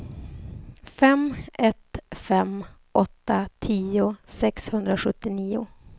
fem ett fem åtta tio sexhundrasjuttionio